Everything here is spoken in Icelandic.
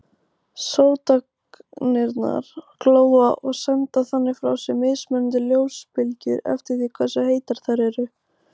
Sótagnirnar glóa og senda þannig frá sér mismunandi ljósbylgjur eftir því hversu heitar þær eru.